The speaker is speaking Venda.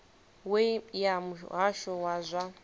we ya muhasho wa zwa